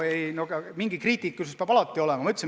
Ent mingi kriitilisus peab alati olema.